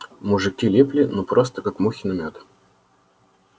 мужики липли ну просто как мухи на мёд